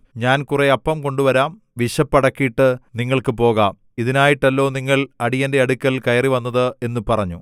ഞാൻ കുറെ അപ്പം കൊണ്ടുവരാം വിശപ്പ് അടക്കീട്ട് നിങ്ങൾക്ക് പോകാം ഇതിനായിട്ടല്ലോ നിങ്ങൾ അടിയന്റെ അടുക്കൽ കയറിവന്നത് എന്നു പറഞ്ഞു